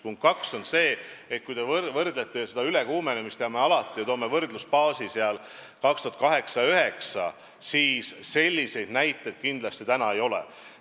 Punkt 2 on see, et kui te mõtlete ülekuumenemisele aastail 2008 ja 2009, mida me alati võrdluseks toome, siis selliseid näiteid praegu kindlasti ei ole.